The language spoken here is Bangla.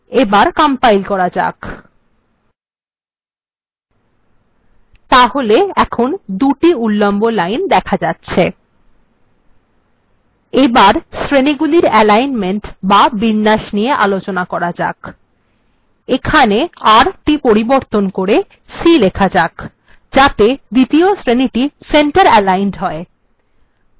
কম্পাইল্ করার পর এই লাইনটিও দেখা যাচ্ছে তাহলে এখন দুটি উল্লম্ব লাইন দেখা যাচ্ছে এবার শ্রেণীগুলির alignment বা বিন্যাস নিয়ে আলোচনা করা যাক এখানে র টি পরিবর্তন করে c লেখা যাক যাতে দ্বিতীয় শ্রেণীটি center aligned হয়